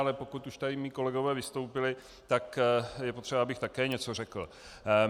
Ale pokud už tady mí kolegové vystoupili, tak je potřeba, abych také něco řekl.